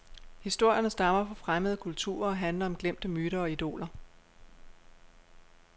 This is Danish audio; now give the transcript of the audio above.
Historierne stammer fra fremmede kulturer og handler om glemte myter og idoler.